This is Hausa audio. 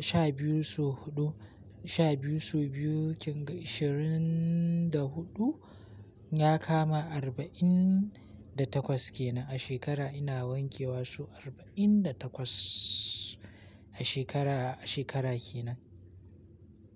Sha biyu so huɗu. Sha biyu sau biyu kin ga ashirin da huɗu ya kama arba'in da takwas kenan. A shekara ina wanke wa sau arba'in da takwas. A shekara, a shekara kenan.